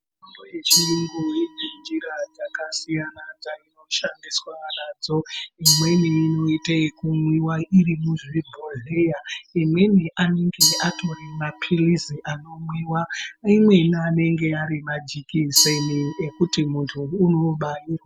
Mitombo yechiyungu ine njira dzakasiyana dzinoshandiswa nadzo. Imweni inoite ekumwiwa iri muzvibhodhleya imweni anenge atori maphilizi anomwiwa imweni anenge ari majekiseni ekuti muntu unobairwa.